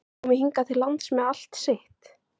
Komi hingað til lands með allt sitt?